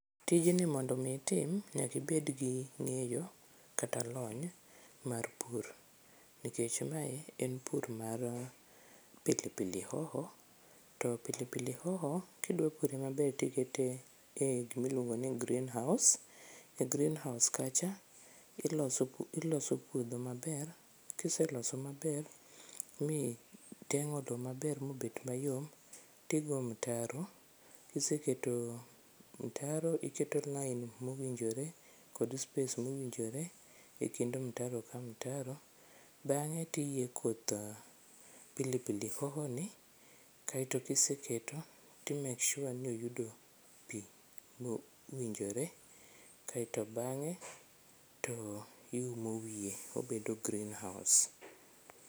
Tijni mondo omi itim nyaka ibed gi ngeyo kata lony mar pur. Nikech mae en pur mar cs]pilipili hoho to pilipili hoho kidwa pure maber to ikete e kuma iluongo ni cs]greenhouse to e greenhouse kacha, iloso puodho maber, kiseloso maber migengo loo maber mobet mayom, to igo mitaro. Kiseketo mtaro, iketo lain mowinjore kod space mowinjore ekind mtaro ka mtaro, bange to iyie koth pilipili hoho ni kaito kiseketo to i make sure ni oyudo pii mowinjore kaito bange to iumo wiye obedo greenhouse